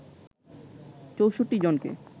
৬৪ জনকে